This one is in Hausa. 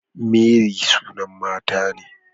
Mary sunan mata ne